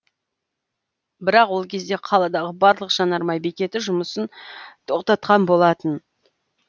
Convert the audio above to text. бірақ ол кезде қаладағы барлық жанармай бекеті жұмысын тоқтатқан болатын